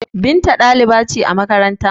Binta dalibai ce a makaranta